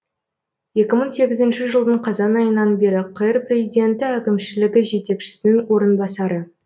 екі мың сегізінші жылдың қазан айынан бері қр президенті әкімішілігі жетекшісінің орынбасары